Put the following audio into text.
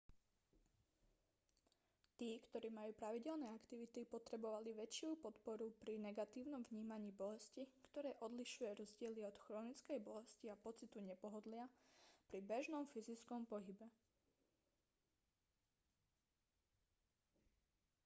tí ktorí majú pravidelné aktivity potrebovali väčšiu podporu pri negatívnom vnímaní bolesti ktoré odlišuje rozdiely od chronickej bolesti a pocitu nepohodlia pri bežnom fyzickom pohybe